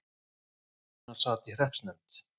Jóhann sat í hreppsnefnd.